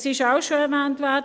Es wurde auch schon erwähnt: